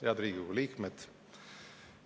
Head Riigikogu liikmed!